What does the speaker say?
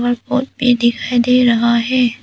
भी दिखाई दे रहा है।